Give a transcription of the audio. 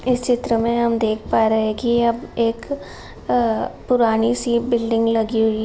इस चित्र में हम दिख पा रहे हैं की यह एक आ पुरानी सी बिल्डिंग लगी हुई --